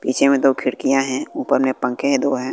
पीछे में दो खिड़कियां हैं ऊपर में पंखे हैं दो हैं।